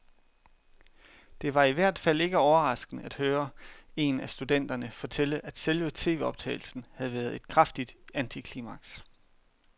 Det var i hvert fald ikke overraskende at høre en af studenterne fortælle, at selve tvoptagelsen havde været et kraftigt antiklimaks.